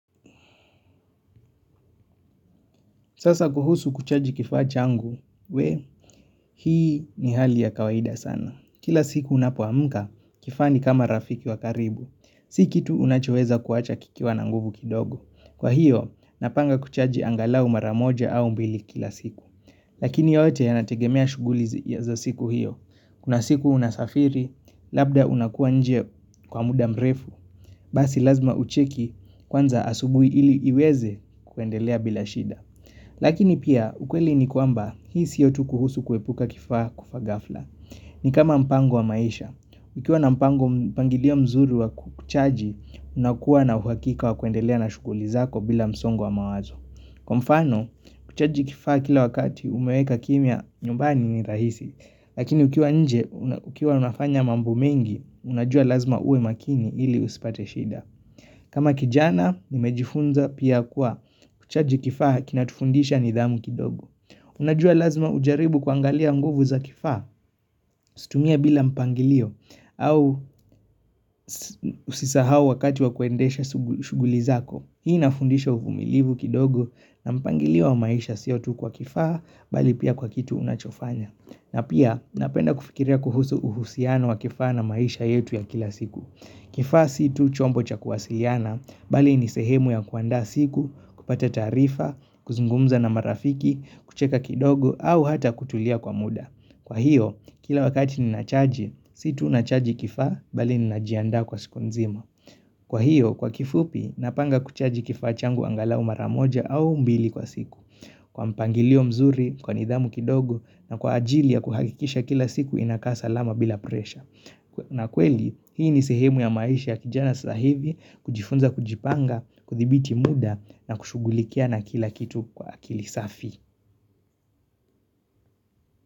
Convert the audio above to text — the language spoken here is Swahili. Sasa kuhusu kuchaji kifaa changu, wee, hii ni hali ya kawaida sana. Kila siku unapoamka, kifaa ni kama rafiki wa karibu. Si kitu unachoweza kuacha kikiwa na nguvu kidogo. Kwa hiyo, napanga kuchaji angalau mara moja au mbili kila siku. Lakini yote yanategemea shughuli za siku hiyo. Kuna siku unasafiri, labda unakuwa nje kwa muda mrefu. Basi lazima ucheki kwanza asubuhi ili iweze kuendelea bila shida. Lakini pia ukweli ni kwamba hii siyo tu kuhusu kuepuka kifaa kufa ghafla ni kama mpango wa maisha. Ukiwa na mpango mpangilio mzuri wa kuchaji unakuwa na uhakika wa kuendelea na shughuli zako bila msongo wa mawazo. Kwa mfano, kuchaji kifaa kila wakati umeweka kimya nyumbani ni rahisi Lakini ukiwa nje ukiwa unafanya mambo mengi unajua lazima uwe makini ili usipate shida kama kijana, nimejifunza pia kuwa kuchaji kifaa kinatufundisha nidhamu kidogo. Unajua lazima ujaribu kuangalia nguvu za kifaa, usitumie bila mpangilio, au usisahau wakati wa kuendesha shughuli zako. Hii inafundisha uvumilivu kidogo na mpangilio wa maisha siyo tu kwa kifaa, bali pia kwa kitu unachofanya. Na pia, napenda kufikiria kuhusu uhusiano wa kifaa na maisha yetu ya kila siku. Kifaa si tu chombo cha kuwasiliana, bali ni sehemu ya kuandaa siku, kupata taarifa, kuzungumza na marafiki, kucheka kidogo au hata kutulia kwa muda. Kwa hiyo, kila wakati ninachaji, si tu nachaji kifaa, bali ninajiandaa kwa siku nzima Kwa hiyo, kwa kifupi, napanga kuchaji kifaa changu angalau mara moja au mbili kwa siku Kwa mpangilio mzuri, kwa nidhamu kidogo na kwa ajili ya kuhakikisha kila siku inakaa salama bila presha na kweli, hii ni sehemu ya maisha ya kijana saa hivi kujifunza kujipanga, kuthibiti muda na kushughulikiana kila kitu kwa akili safi.